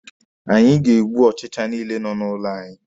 Anyị ga-egbu ọchicha niile nọ n'ụlọ anyị.